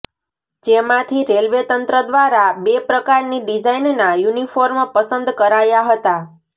જેમાંથી રેલવેતંત્ર દ્વારા બે પ્રકારની ડિઝાઇનના યુનિફોર્મ પસંદ કરાયા હતા